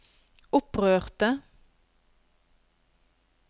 opprørte